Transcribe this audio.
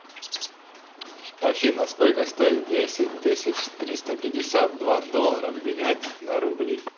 афина сколько стоит десять тысяч триста пятьдесят два доллара обменять на рубли